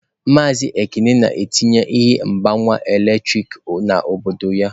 Maazị Ekene na-etinye ihe mgbanwe eletrik n'obodo ya.